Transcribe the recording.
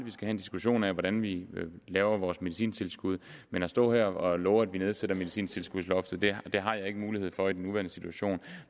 diskussion af hvordan vi laver vores medicintilskud men at stå her og love at vi nedsætter medicintilskudsloftet har jeg ikke mulighed for i den nuværende situation